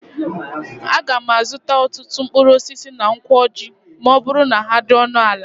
Aga m azụta ọtụtụ mkpụrụ osisi na Nkwo Ọjị ma ọ bụrụ na ha dị ọnụ ala.